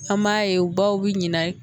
An m'a ye u baw bi ɲinɛ